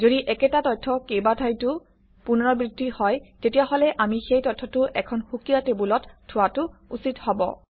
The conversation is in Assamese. যদি একেটা তথ্য কেইবাঠাইতো পুনৰাবৃত্তি হয় তেতিয়াহলে আমি সেই তথ্যটো এখন সুকীয়া টেবুলত থোৱাটো উচিত হব